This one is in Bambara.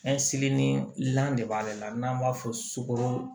de b'ale la n'an b'a fɔ sukoro